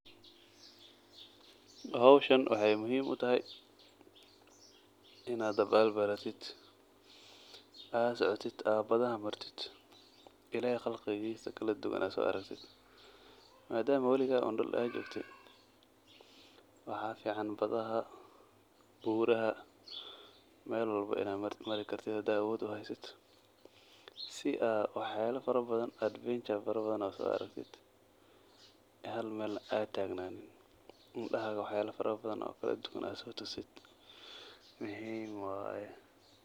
Xowshan waxay muxiim utaxay, inadh dabal baratidh, adh socotidh aa badhaxaa martidh, illahey qalqilkesa kaladuwan adh soaraktidh, madaam wiliga un duul un aa jogte, waxaa fican badhaxaa, buraxaa mel waxbo inadh marikartidh xadhadh awodh uxaysatidh, si aa waxyala farabdhan adventure fara badhan adh soaraktidhh, xal mel adh tagnanin, indaxadha wax yala fatabadhan oo kaladhunwan adh sotusidh muxiim wayee.